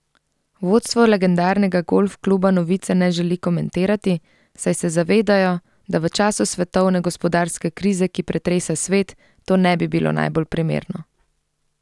Vodstvo legendarnega golf kluba novice ne želi komentirati, saj se zavedajo, da v času svetovne gospodarske krize, ki pretresa svet, to ne bi bilo najbolj primerno.